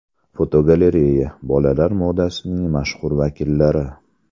Fotogalereya: Bolalar modasining mashhur vakillari.